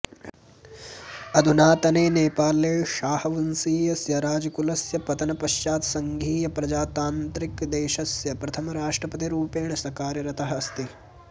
अधुनातने नेपाले शाहवंशीयस्य राजकुलस्य पतनपश्चात् सङ्घीय प्रजातान्त्रिकदेशस्य प्रथमराष्ट्रपतिरूपेण स कार्यरतःअस्ति